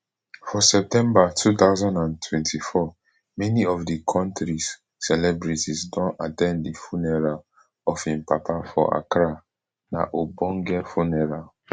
for september two thousand and twenty-four many of di kontris celebrities don at ten d di funeral of im papa for accra na ogbonge funeral